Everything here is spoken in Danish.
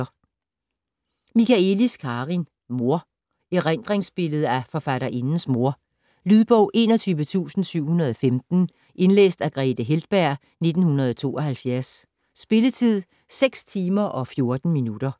Michaëlis, Karin: Mor Erindringsbillede af forfatterindens mor. Lydbog 21715 Indlæst af Grethe Heltberg, 1972. Spilletid: 6 timer, 14 minutter.